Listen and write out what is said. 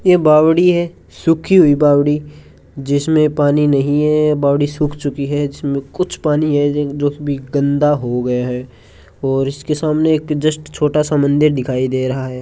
यह बावड़ी है सूखी हुई बावड़ी जिसमें पानी नहीं है बावड़ी सूख चुकी है इसमें कुछ पानी है जो भी गंदा हो गया है और इसके सामने एक जस्ट छोटा सा मंदिर दिखाई दे रहा है।